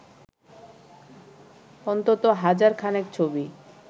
অন্তত হাজার খানেক ছবি